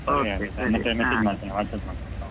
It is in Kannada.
WhatsApp ಮಾಡ್ತೇನೆ.